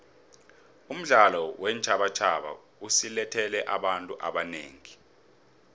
umdlalo weentjhabatjhaba usilethele abantu abanengi